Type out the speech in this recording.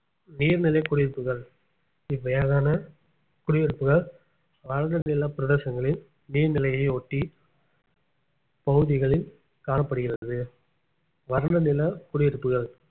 நீர்நிலை குடியிருப்புகள் இவ்வகையான குடியிருப்புகள் வறண்ட நில பிரதேசங்களில் நீர் நிலையை ஒட்டி பகுதிகளில் காணப்படுகிறது வறண்ட நில குடியிருப்புகள்